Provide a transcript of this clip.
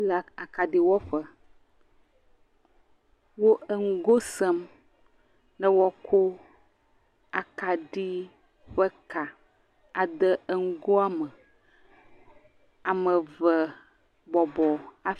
…le akaɖiwɔƒe, wo enugo sem ne woakɔ ekaɖi ƒe ka ade enugoa me, ame eve bɔbɔ…